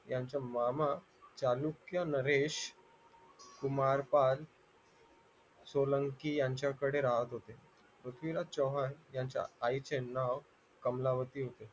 याचा मामा चालूक्य नरेश कुमार पाल सोलंकी यांच्याकडे राहत होते पृथ्वीराज चव्हाण यांच्या आईचे नाव कमलावती होते